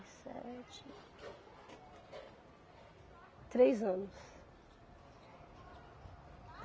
sete Três anos.